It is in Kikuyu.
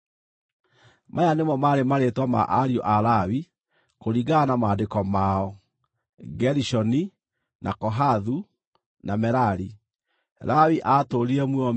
Maya nĩmo maarĩ marĩĩtwa ma ariũ a Lawi kũringana na maandĩko mao: Gerishoni, na Kohathu, na Merari. Lawi aatũũrire muoyo mĩaka 137.